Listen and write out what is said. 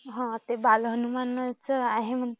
हां ते बाल हनुमान आहे म्हणे